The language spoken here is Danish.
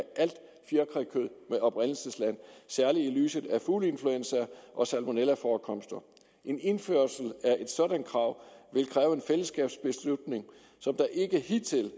alt fjerkrækød med oprindelsesland særlig i lyset af fugleinfluenza og salmonellaforekomster en indførelse af et sådan krav vil kræve en fællesskabsbeslutning som der ikke hidtil